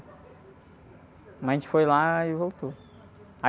Mas a gente foi lá e voltou.